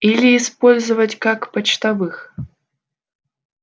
или использовать как почтовых